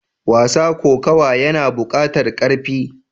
Wasa kokawa yana bukatar karfi.